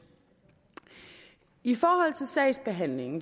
i forhold til sagsbehandlingen